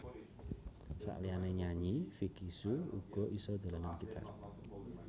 Saliyané nyanyi Vicky Shu uga isa dolanan gitar